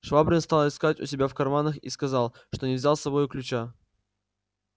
швабрин стал искать у себя в карманах и сказал что не взял с собою ключа